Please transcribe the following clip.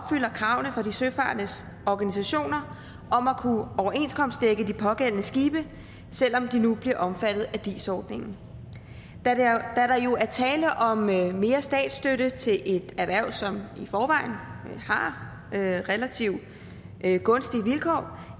kravene fra de søfarendes organisationer om at kunne overenskomstdække de pågældende skibe selv om de nu bliver omfattet af dis ordningen da der jo er tale om mere mere statsstøtte til et erhverv som i forvejen har relativt gunstige vilkår